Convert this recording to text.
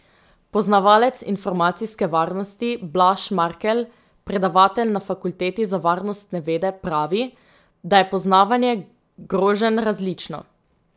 Poznavalec informacijske varnosti, Blaž Markelj, predavatelj na fakulteti za varnostne vede, pravi, da je poznavanje groženj različno.